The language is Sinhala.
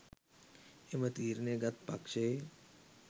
එම තීරණය ගත් පක්ෂයේ